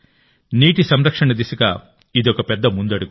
నీటి సంరక్షణ దిశగా ఇదొక పెద్ద ముందడుగు